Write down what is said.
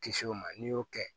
Kisɛ o ma n'i y'o kɛ